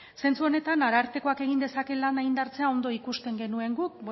zentzu honetan arartekoak egin dezake lan indartzea ondo ikusten genuen guk